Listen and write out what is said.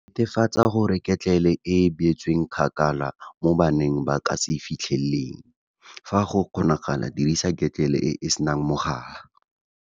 Netefatsa gore ketlele e beetswe kgakala mo bana ba ka se e fitlheleleng. Fa go kgonagala dirisa ketlele e e senang mogala.